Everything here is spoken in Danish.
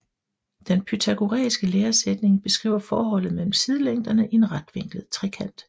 Den pythagoræiske læresætning beskriver forholdet mellem sidelængderne i en retvinklet trekant